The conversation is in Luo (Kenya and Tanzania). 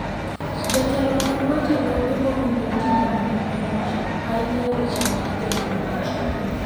jotelo mag weche lope owinjo itimonegi puonj ainyae weche mag teknolojia